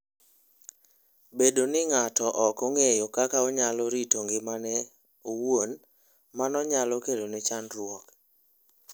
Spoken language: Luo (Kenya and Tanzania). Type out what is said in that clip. Bedo ni ng'ato ok ong'eyo kaka onyalo rito ngimane owuon, mano nyalo kelone chandruok.